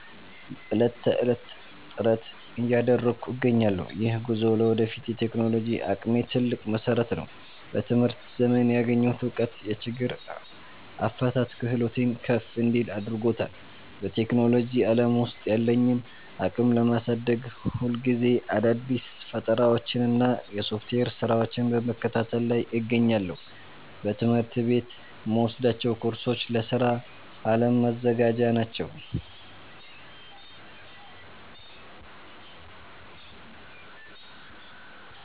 ዕለት ተዕለት ጥረት እያደረግኩ እገኛለሁ። ይህ ጉዞ ለወደፊት የቴክኖሎጂ አቅሜ ትልቅ መሰረት ነው። በትምህርት ዘመኔ ያገኘሁት እውቀት የችግር አፈታት ክህሎቴን ከፍ እንዲል አድርጎታል። በቴክኖሎጂ ዓለም ውስጥ ያለኝን አቅም ለማሳደግ፣ ሁልጊዜ አዳዲስ ፈጠራዎችንና የሶፍትዌር ስራዎችን በመከታተል ላይ እገኛለሁ። በትምህርት ቤት የምወስዳቸው ኮርሶች ለስራ ዓለም መዘጋጃ ናቸው